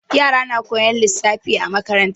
Yara na koyan lissafi a makaranta.